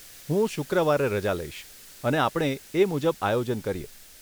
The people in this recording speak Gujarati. હું શુક્રવારે રજા લઈશ, અને આપણે એ મુજબ આયોજન કરીએ.